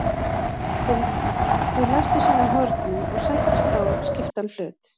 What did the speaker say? Þeir læstu saman hornum og sættust á skiptan hlut.